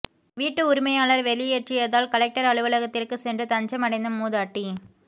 வீட்டு உரிமையாளர் வெளியேற்றியதால் கலெக்டர் அலுவலகத்திற்கு சென்று தஞ்சம் அடைந்த மூதாட்டி